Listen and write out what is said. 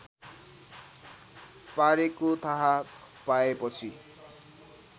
पारेको थाहा पाएपछि